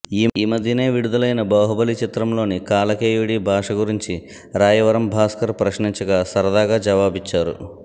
ఈ మధ్యనే విడుదల అయిన బాహుబలి చిత్రంలోని కాలకేయుడి భాష గురించి రాయవరం భాస్కర్ ప్రశ్నించగా సరదాగా జవాబిచ్చారు